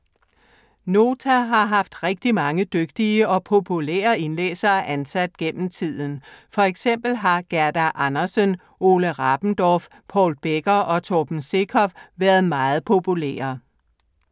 Nota har haft rigtig mange dygtige og populære indlæsere ansat gennem tiden. For eksempel har Gerda Andersen, Ole Rabendorff, Paul Becker og Torben Sekov været meget populære.